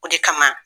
O de kama